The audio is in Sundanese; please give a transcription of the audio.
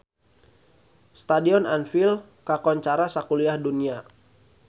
Stadion Anfield kakoncara sakuliah dunya